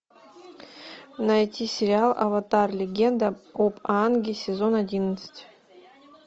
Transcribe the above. найти сериал аватар легенда об аанге сезон одиннадцать